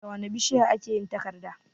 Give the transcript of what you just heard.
Da wane bishiya a ke yin takarda?